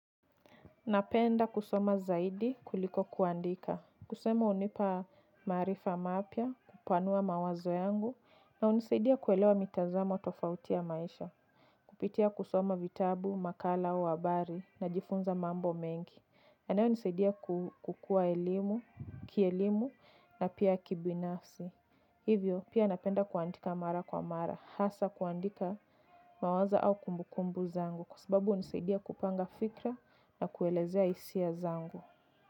Napenda kusoma zaidi kuliko kuandika. Kusema hunipa maarifa mapya, kupanua mawazo yangu, na hunisaidia kuelewa mitazamo tofauti ya maisha. Kupitia kusoma vitabu, makala, wabari, na jifunza mambo mengi. Yanayo nisadia kukua elimu, kielimu, na pia kibinafsi. Hivyo, pia napenda kuandika mara kwa mara. Hasa kuandika mawazo au kumbukumbu zangu. Kwa sababu hunisaidia kupanga fikra na kuelezea hisia zangu.